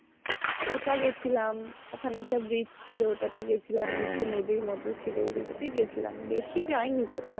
ওটা গেছিলাম ওখানে একটা bridge ছিল ওটাতে গেছিলাম নিচে নদীর মতো ছিল ওগুলোতে গেছিলাম বেশি যায়নি কোথাও